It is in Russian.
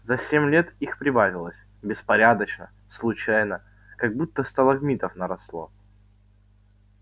за семь лет их прибавилось беспорядочно случайно как будто сталагмитов наросло